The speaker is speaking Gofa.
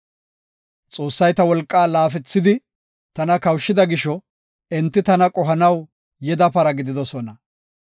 Xoossay ta wolqaa laafethidi tana kawushida gisho, enti tana qohanaw yeda para gididosona.